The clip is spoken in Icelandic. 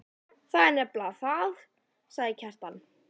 Það er nefnilega það, sagði Kjartan.